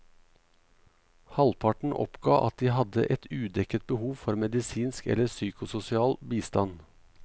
Halvparten oppga at de hadde et udekket behov for medisinsk eller psykososial bistand.